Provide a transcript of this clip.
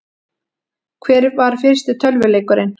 Hver var fyrsti tölvuleikurinn?